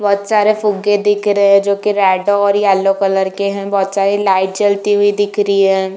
बहुत सारे फूगे दिख रहे हैं जोकि रेड और येलो कलर के हैं। बहुत सारी लाइट जलती हुई दिख रही है।